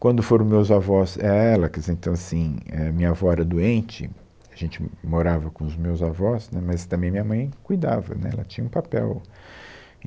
Quando foram os meus avós, ia ela, quer dizer então assim, é, minha avó era doente, a gente morava com os meus avós, né, mas também minha mãe cuidava, né, ela tinha um papel.